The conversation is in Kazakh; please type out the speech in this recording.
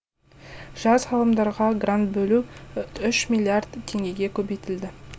жас ғалымдарға грант бөлу үш миллиард теңгеге көбейтілді